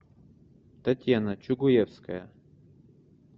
татьяна чугуевская